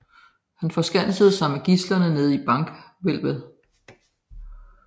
Han forskansede sig så med gidslerne nede i bankhvælvet